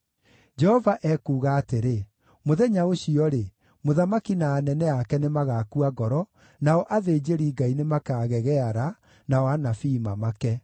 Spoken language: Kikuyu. Jehova ekuuga atĩrĩ, “Mũthenya ũcio-rĩ, mũthamaki na anene ake nĩmagakua ngoro, nao athĩnjĩri-Ngai nĩmakagegeara, nao anabii mamake.”